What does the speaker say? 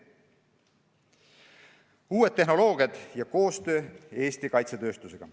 Järgmine teema: uued tehnoloogiad ja koostöö Eesti kaitsetööstusega.